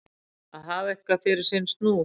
Að hafa eitthvað fyrir sinn snúð